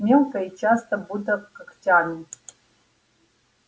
мелко и часто будто когтями